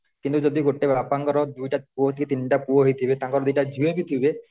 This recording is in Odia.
କିନ୍ତୁ ଯଦି ଗୋଟେ ବାପାଙ୍କ ର ଦୁଇଟା ପୁଅ କି ତିନିଟା ପୁଅ ହେଇ ଥିବେ ତାଙ୍କର ଦିଟା ଝିଅ ବି ଥିବେ